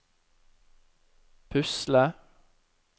pusle